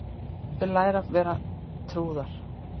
Þau læra að vera trúðar